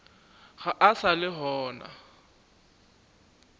ga a sa le gona